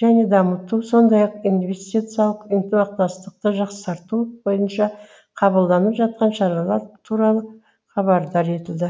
және дамыту сондай ақ инвестициялық ынтымақтастықты жақсарту бойынша қабылданып жатқан шаралар туралы хабардар етілді